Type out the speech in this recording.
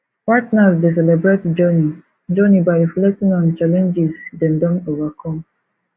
partners dey celebrate journey journey by reflecting on challenges dem don overcome